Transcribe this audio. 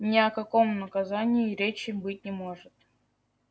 ни о каком наказании и речи быть не может